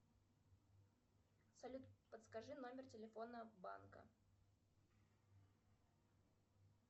салют подскажи номер телефона банка